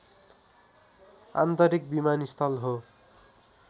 आन्तरिक विमानस्थल हो